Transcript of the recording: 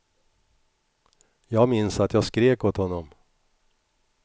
Jag minns att jag skrek åt honom.